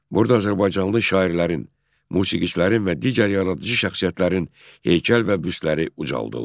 Burada azərbaycanlı şairlərin, musiqiçilərin və digər yaradıcı şəxsiyyətlərin heykəl və büstləri ucaldıldı.